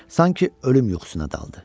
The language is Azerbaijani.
Sanki ölüm yuxusuna daldı.